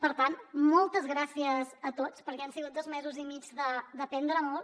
per tant moltes gràcies a tots perquè han sigut dos mesos i mig d’aprendre molt